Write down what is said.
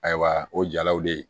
Ayiwa o jalaw de